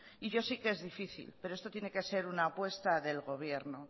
y yo sé que es difícil pero esto tiene que ser una apuesta del gobierno